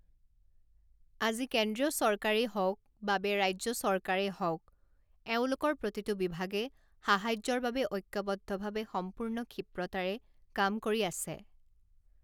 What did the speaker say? আজি কেন্দ্ৰীয় চৰকাৰেই হওক বাবে ৰাজ্য চৰকাৰেই হওক, এওঁলোকৰ প্ৰতিটো বিভাগে সাহায্যৰ বাবে ঐক্যৱদ্ধভাৱে সম্পূৰ্ণ ক্ষীপ্ৰতাৰে কাম কৰি আছে।